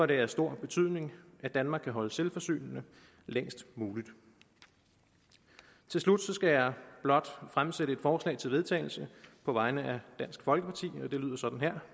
det af stor betydning at danmark kan holdes selvforsynende længst muligt til slut skal jeg blot fremsætte forslag til vedtagelse på vegne af dansk folkeparti og det lyder sådan her